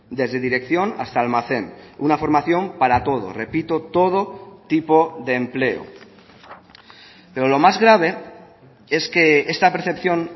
desde dirección hasta almacén una formación para todo repito todo tipo de empleo pero lo más grave es que esta percepción